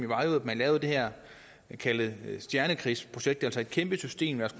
var jo at man lavede det her såkaldte stjernekrigsprojekt altså et kæmpe system der